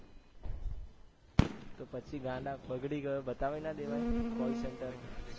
તો પછી ગાંડા બગડી ગયો બતાવી નાં દેવાય કોલ સેન્ટર માં